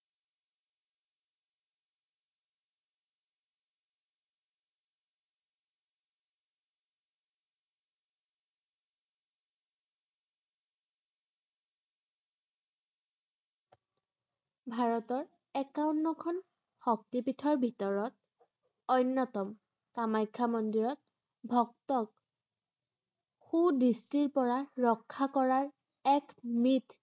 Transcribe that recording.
ভাৰতৰ একাৱন্নখন শক্তিপীঠৰ ভিতৰত অন্য়তম। কামাখ্যা মন্দিৰত ভক্তক কু দৃষ্টিৰ পৰা ৰক্ষা কৰাৰ এক উমিদ